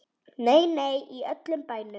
Nei, nei, í öllum bænum.